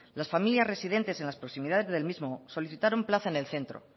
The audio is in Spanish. las familias residentes en las proximidades del mismo solicitaron plaza en el centro